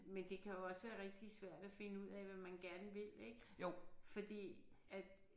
Men det kan jo også være rigtig svært at finde ud af hvad man gerne vil ik fordi at